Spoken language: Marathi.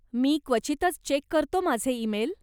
मी क्वचितच चेक करतो माझे इमेल.